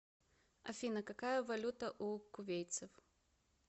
афина какая валюта у кувейтцев